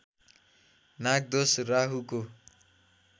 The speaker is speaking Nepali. नागदोष राहुको